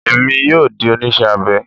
Èmi yóò di oníṣẹ́ abẹ